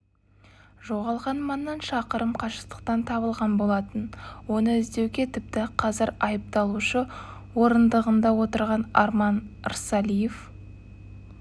жоғалған маңнан шақырым қашықтықтан табылған болатын оны іздеуге тіпті қазір айыпталушы орындығында отырған арман рсалиев